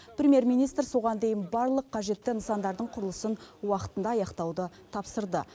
премьер министр соған дейін барлық қажетті нысандардың құрылысын уақытында аяқтауды тапсырды